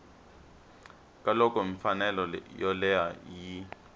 ka loko mfanelo yoleyo yi